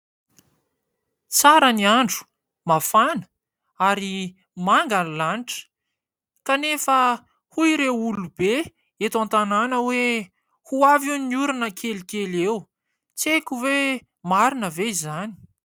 Tsara ny andro, mafana ary manga ny lanitra. Kanefa hoy ireo olobe eto an-tanàna hoe ho avy hono ny orana kelikely eo. Tsy haiko hoe marina ve izany ?.